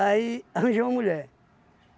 Aí arranjei uma mulher.